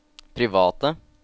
private